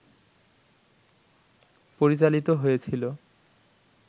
পরিচালিত হয়েছিল